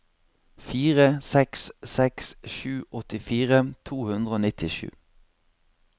fire seks seks sju åttifire to hundre og nittisju